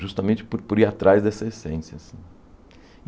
Justamente por por ir atrás dessa essência.